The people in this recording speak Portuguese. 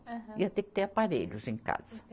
Ia ter que ter aparelhos em casa.